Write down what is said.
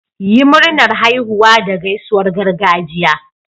Yi Murnar haihuwa da gaisuwar gargajiya.